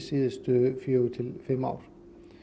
síðustu fjögur til fimm ár